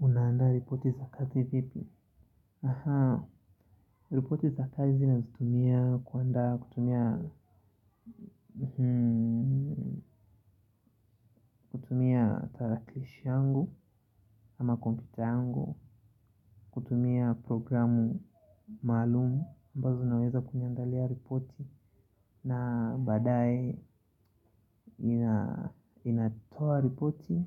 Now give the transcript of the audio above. Unaanda ripoti za kazi vipi? Aha, ripoti za kazi nazitumia kuandaa kutumia kutumia tarakilishi yangu ama computer yangu. Kutumia programu maalumu ambazo zinaweza kuniandalia ripoti. Na baadaye ninatoa ripoti